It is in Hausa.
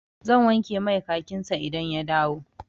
Zan wanke mai kakin sa idan ya dawo.